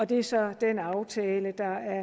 det løser aftalen